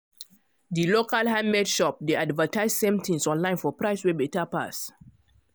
di local handmade shop dey advertise same things online for price wey better pass